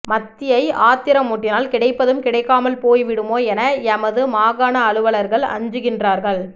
மத்தியை ஆத்திரமூட்டினால் கிடைப்பதும் கிடைக்காமல் போய்விடுமோ என எமது மாகாண அலுவலர்கள் அஞ்சுகின்றார்கள்